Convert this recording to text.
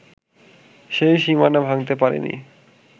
সেই সীমানা ভাঙতে পারেনি